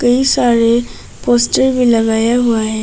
कई सारे पोस्टर भी लगाया हुआ है।